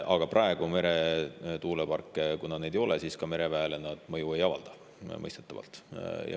Aga kuna praegu meretuuleparke ei ole, siis ka mereväele nad mõistetavalt mõju ei avalda.